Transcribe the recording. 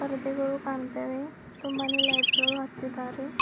ಪರದೆಗಳು ಕಾಣ್ತಾ ಇವೆ ತುಂಬಾನೇ ಲೈಟ್ಸ್ ಗಳು ಹಚ್ಚಿದ್ದಾರೆ.